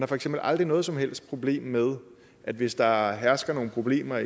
har for eksempel aldrig noget som helst problem med at hvis der hersker nogle problemer